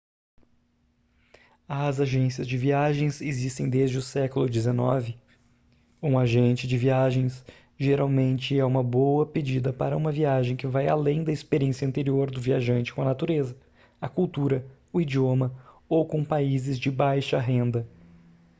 as agências de viagens existem desde o século xix um agente de viagens geralmente é uma boa pedida para uma viagem que vai além da experiência anterior do viajante com a natureza a cultura o idioma ou com países de baixa renda